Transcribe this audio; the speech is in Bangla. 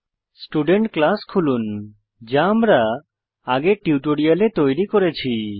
স্টুডেন্ট ক্লাস খুলুন যা আমরা আগের টিউটোরিয়ালে তৈরী করেছি